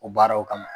O baaraw kama